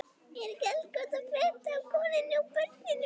Er ekki allt gott að frétta af konunni og börnunum?